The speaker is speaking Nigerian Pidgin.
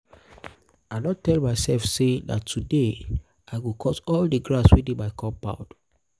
i don tell my self say today na today. i go cut all the grass wey dey my compound